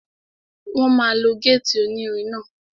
Wọ́n máa lo gétì onírin náà